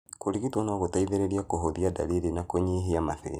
Kũrigito no gũteithie kũhũthia ndariri na kũnyihia mathĩna.